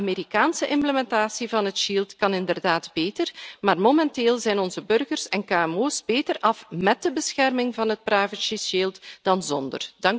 De Amerikaanse implementatie van het shield kan inderdaad beter, maar momenteel zijn onze burgers en kmo's beter af met de bescherming van het privacy shield dan zonder.